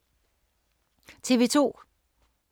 TV 2